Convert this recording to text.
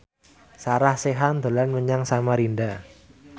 Sarah Sechan dolan menyang Samarinda